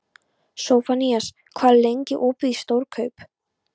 Sophanías, hvað er lengi opið í Stórkaup?